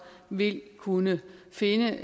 vil kunne finde